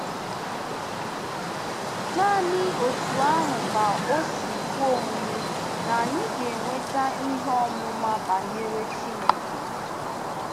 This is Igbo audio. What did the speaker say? Nanị otú ahụ ka o si kwe omume na anyị ga-enweta ihe ọmụma banyere Chineke?